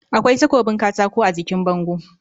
Akwai takobin katako a jikin bango